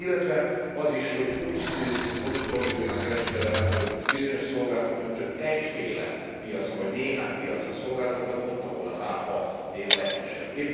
Illetve az is, hogy úgy torzuljon a kereskedelem, hogy bizonyos szolgáltatók csak egyféle piacra, vagy néhány piacra szolgáltatnak, ott, ahol az áfa a legkisebb.